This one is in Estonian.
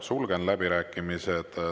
Sulgen läbirääkimised.